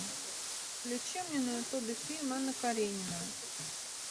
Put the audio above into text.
включи мне на ютубе фильм анна каренина